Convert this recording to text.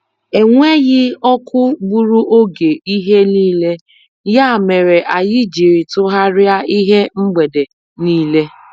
Enweghị ọkụ gburu oge ihe niile, ya mere anyị jiri tọgharịa ihe mgbede niile.